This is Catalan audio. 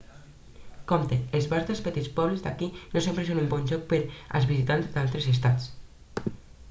compte els bars dels petits pobles d'aquí no sempre són un bon lloc per als visitants d'altres estats